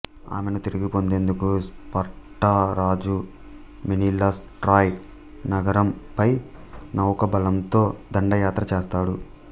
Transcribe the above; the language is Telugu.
ఆమెను తిరిగి పొందేందుకు స్పార్టా రాజు మెనిలస్ ట్రాయ్ నగరం పై నౌకాబలంతో దండయాత్ర చేస్తాడు